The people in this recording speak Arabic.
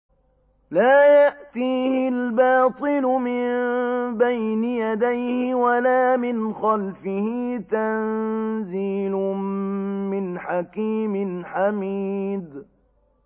لَّا يَأْتِيهِ الْبَاطِلُ مِن بَيْنِ يَدَيْهِ وَلَا مِنْ خَلْفِهِ ۖ تَنزِيلٌ مِّنْ حَكِيمٍ حَمِيدٍ